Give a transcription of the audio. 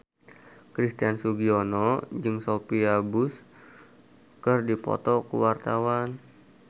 Christian Sugiono jeung Sophia Bush keur dipoto ku wartawan